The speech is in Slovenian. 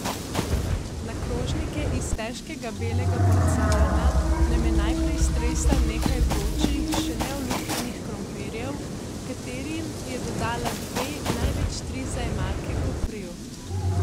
Na krožnike iz težkega belega porcelana nam je najprej stresla nekaj vročih, še neolupljenih krompirjev, katerim je dodala dve, največ tri zajemalke kopriv.